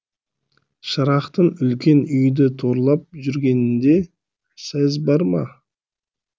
шырақтың үлкен үйді торлап жүргенінде сөз бар ма